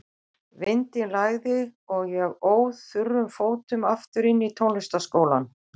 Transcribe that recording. Vindinn lægði og ég óð þurrum fótum aftur inn í tónlistarskólann.